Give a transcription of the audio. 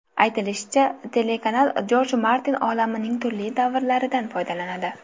Aytilishicha, telekanal Jorj Martin olamining turli davrlaridan foydalanadi.